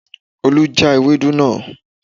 Olú já Ewedu náà